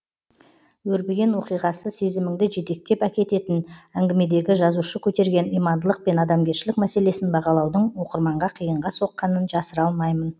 өрбіген оқиғасы сезіміңді жетектеп әкететін әңгімедегі жазушы көтерген имандылық пен адамгершілік мәселесін бағалаудың оқырманға қиынға соққанын жасыра алмаймын